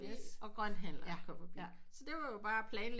Og grønthandleren kom forbi så det var jo bare at planlægge